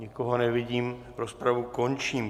Nikoho nevidím, rozpravu končím.